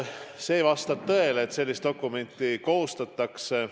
Vastab tõele, et sellist dokumenti koostatakse.